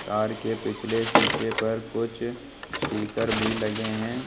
Car के पिछले शीशे पर कुछ स्टीकर भी लगे हैं।